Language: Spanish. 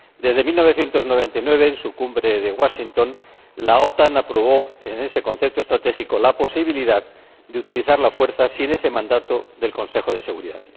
Desde 1999, en su Cumbre de Washington, la OTAN aprobó en ese concepto estratégico la posibilidad de utilizar la fuerza sin el mandato del Consejo de Seguridad.